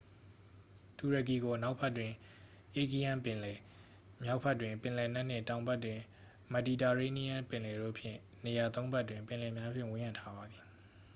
တူရကီကို အနောက်ဘက်တွင် aegean ပင်လယ် မြောက်ဘက်တွင် ပင်လယ်နက်နှင့် တောင်ဘက်တွင် မက်ဒီတာရေးနီးယန်းပင်လယ်တို့ဖြင့် နေရာသုံးဖက်တွင် ပင်လယ်များဖြင့် ဝန်းရံထားပါသည်